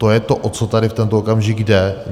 To je to, o co tady v tento okamžik jde.